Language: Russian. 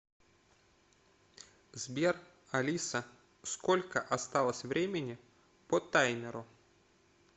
сбер алиса сколько осталось времени по таймеру